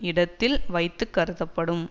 இடத்தில் வைத்து கருதப்படும்